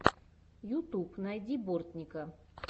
ютуб найди бортника